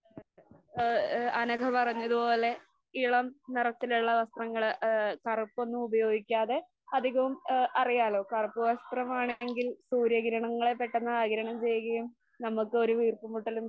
ആ ആ അനഘ പറഞ്ഞതുപോലെ ഇളം നിറത്തിലുള്ള വസ്ത്രങ്ങള് ആ കറുപ്പൊന്നും ഉപയോഗിക്കാതെ അധികവും ആ അറിയാലോ? കറുപ്പ് വസ്ത്രം ആണെങ്കിൽ സൂര്യഗ്രഹണങ്ങളെ പെട്ടെന്ന് ആഗിരണം ചെയ്യുകയും നമുക്ക് ഒരു വീർപ്പ്മുട്ടലും